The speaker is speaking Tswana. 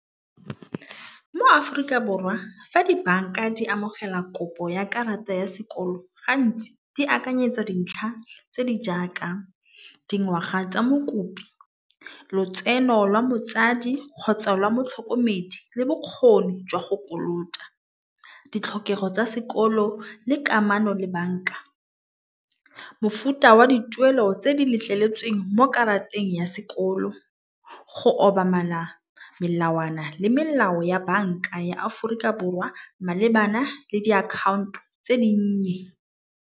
Mo-Aforika Borwa fa dibanka di amogela kopo ya karata ya sekoloto gantsi di akanyetsa dintlha tse di jaaka dingwaga tsa mokopi lotseno lwa motsadi kgotsa lwa motlhokomedi le bokgoni jwa go kolota. Ditlhokego tsa sekolo le kamano le banka. Mofuta wa dituelo tse di letleletseng mo karateng ya sekolo go obamela melawana le melao ya banka ya Aforika Borwa malebana le diakhaonto tse di nnye.